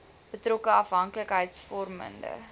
betrokke afhanklikheids vormende